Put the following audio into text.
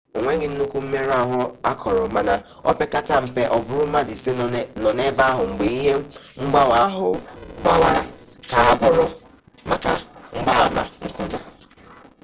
o nweghị nnukwu mmerụ ahụ akọrọ mana o pekata mpe ọ bụrụ mmadụ ise nọ n'ebe ahụ mgbe ihe mgbawa ahụ gbawara ka agwọrọ maka mgbaama nkụja